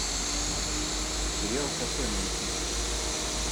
сериал кафе найти